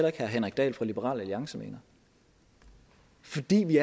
at herre henrik dahl fra liberal alliance mener fordi vi